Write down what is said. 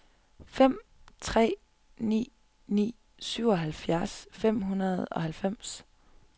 fem tre ni ni syvoghalvfjerds fem hundrede og halvfems